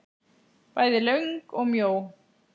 Bæði löng og mjó.